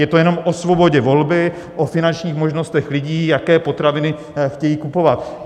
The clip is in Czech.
Je to jenom o svobodě volby, o finančních možnostech lidí, jaké potraviny chtějí kupovat.